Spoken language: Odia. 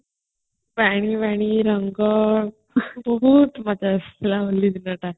ପାଣି ଫାନୀ ରଙ୍ଗ ବହୁତ ମଜା ଆସୁଥିଲା ହୋଲି ଦିନ ଟା